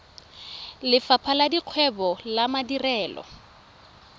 lefapha la dikgwebo le madirelo